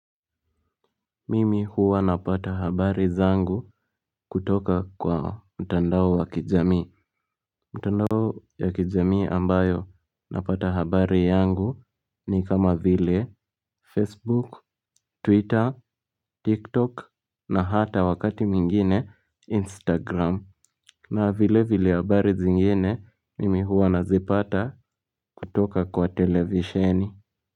Mimi huwa napata habari zangu kutoka kwa mtandao wa kijamii. Mtandao ya kijamii ambayo napata habari yangu ni kama vile Facebook, Twitter, TikTok na hata wakati mwingine Instagram. Na vile vile habari zingine mimi huwa nazipata kutoka kwa televisheni.